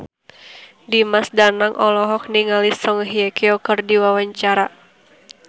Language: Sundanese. Dimas Danang olohok ningali Song Hye Kyo keur diwawancara